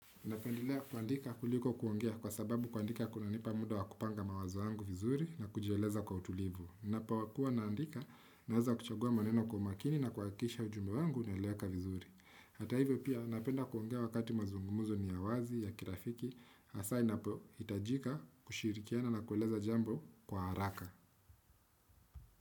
Napendelea kuandika kuliko kuongea kwa sababu kuandika kunanipa muda wa kupanga mawazo yangu vizuri na kujieleza kwa utulivu. Ninapokua naandika naweza kuchagua maneno kwa umakini na kuhakikisha ujumbe wangu unaeleweka vizuri. Hata hivyo pia napenda kuongea wakati mazungumuzo ni ya wazi ya kirafiki, hasa inapohitajika kushirikiana na kueleza jambo kwa haraka.